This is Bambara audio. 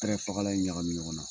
Tɛrɛ fagala in ɲagami ɲɔgɔn na